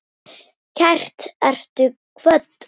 Kært ertu kvödd.